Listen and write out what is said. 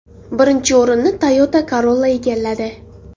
Birinchi o‘rinni Toyota Corolla egalladi.